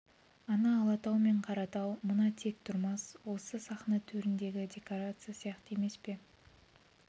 ана алатау мен қаратау мына тек-тұрмас осы сахна төріндегі декорация сияқты емес пе